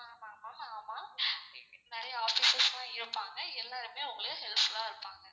ஆமா ma'am ஆமா நிறைய officers லாம் இருப்பாங்க எல்லாருமே உங்களுக்கு helpful ஆ இருப்பாங்க.